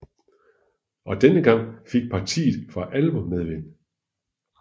Og denne gang fik partiet for alvor medvind